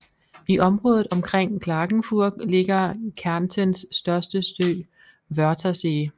I området omkring Klagenfurt ligger Kärntens største sø Wörthersee